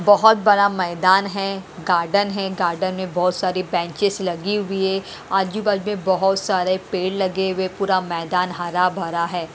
बहोत बड़ा मैदान हैं गार्डन हैं गार्डन में बहोत सारी बैंचेस लगी हुई है आजू बाजू में बहोत सारे पेड़ लगे हुए पूरा मैदान हरा भरा है।